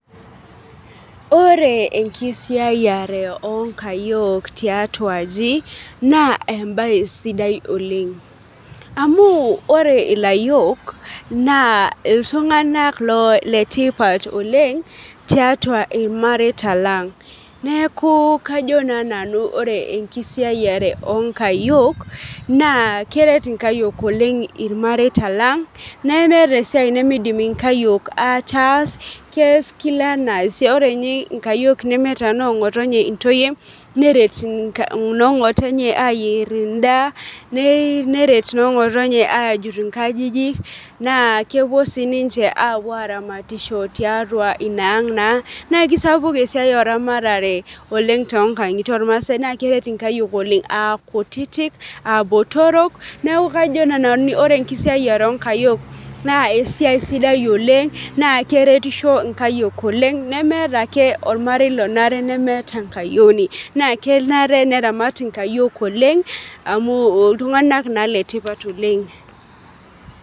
Ore enkisiayiare onkayiok tiatua aji naa embaye sidai oleng amu ore ilayiok naa iltun'anak loo letipat oleng tiatua irmareita lang neeku kajo naa nanu ore enkisiayiare onkayiok naa keret inkayiok oleng irmareita lang nemeeta esiai nimidim inkayiok ataas kees kila enaa ore inye nkayiok nemeeta nong'otonye intoyie neret inka nong'otonye ayierr endaa neret inong'otonye ajut inkajijik naa kepuo sii ninche apuo aramatisho tiatua ina ang naa nekisapuk esiai oramatare oleng tonkang'itie ormasae naa keret inkayiok oleng akutitik abotorok neku kajo naa nanu ore enkisiayiare onkayiok naa esiai sidai oleng naa keretisho inkayiok oleng nemeeta ake ormarei lonare nemeeta enkayioni naa kenare neramat inkayiok oleng amu iltung'anak naa letipat oleng.